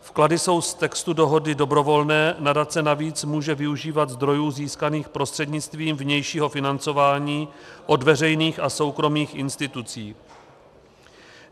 Vklady jsou z textu dohody dobrovolné, nadace navíc může využívat zdrojů získaných prostřednictvím vnějšího financování od veřejných a soukromých institucí.